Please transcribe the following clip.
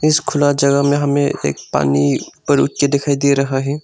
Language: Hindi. इस खुला जगह में हमें एक पानी ऊपर उठके दिखाई दे रहा है।